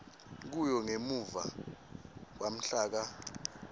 kuyo ngemuva kwamhlaka